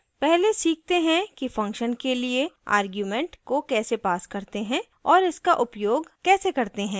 पहले सीखते हैं कि function के लिए argument को कैसे pass करते हैं और इसका उपयोग कैसे करते हैं